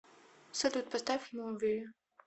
салют поставь муви